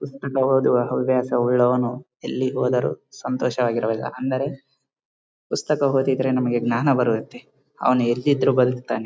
ಇಷ್ಟು ಪುಸ್ತಕ ಓದುವ ಹವ್ಯಾಸ ಒಳ್ಳೆಯವನು ಎಲ್ಲಿ ಹೋದರು ಸಂತೋಷ ವಾಗಿರಬಲ್ಲ ಅಂದರೆ ಪುಸ್ತಕ ಓದಿದ್ರೆ ನಮಗೆ ಜ್ಞಾನ ಬರುತ್ತೆ ಅವನು ಎಲ್ಲಿದ್ರೂ ಬದುಕುತ್ತಾನೆ.